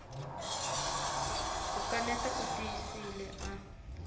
ku kaneta u tiyisile a